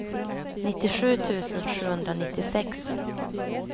nittiosju tusen sjuhundranittiosex